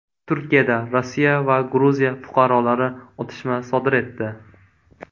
Turkiyada Rossiya va Gruziya fuqarolari otishma sodir etdi.